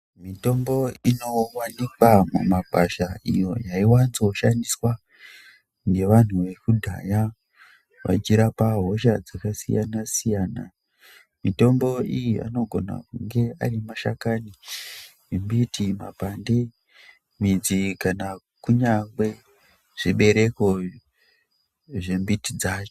Mitombo ino wanikwa mu makwasha iyo yai wanzo shandiswa nge vanhu veku dhaya vechi rapa hosha dzaka siyana siyana mitombo iyi anogona kunge ari mashakani embiti makwande midzi kana kunyangwe zvi bereko zve mbiti dzacho.